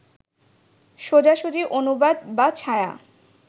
সোজাসুজি অনুবাদ বা ছায়া